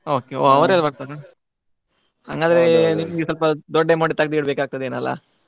ಒಹ್ ಅವರೆಲ್ಲ ಬರ್ತಾರಾ ಹಂಗಾದ್ರೆ ನಿಮಗೆ ಸ್ವಲ್ಪ ದೊಡ್ಡ amount ಎ ತೆಗ್ದ್ ಇಡಬೇಕಾಗ್ತದೇನೋ ಅಲ್ಲ.